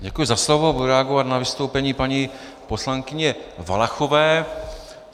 Děkuji za slovo, budu reagovat na vystoupení paní poslankyně Valachové.